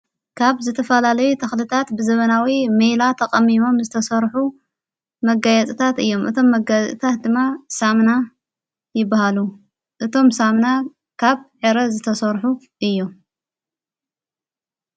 ካብ ዘተፋላለይ ተኽልታት ብዘበናዊእዮይላ ተቐሚሞም ዝተሠርኁ መጋያጽታት እዮም እቶም መጋዝታት ድማ ሳምና ይበሃሉ እቶም ሳምና ካብ ኤረ ዝተሠርኁ እዮ።